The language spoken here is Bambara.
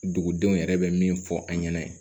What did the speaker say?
Dugudenw yɛrɛ bɛ min fɔ an ɲɛna